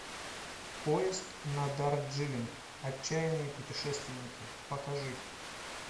поезд на дарджилинг отчаянные путешественники покажи